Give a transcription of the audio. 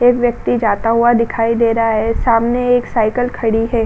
एक व्यक्ति जाता हुआ दिखाई दे रहा है। सामने एक साइकिल खड़ी है।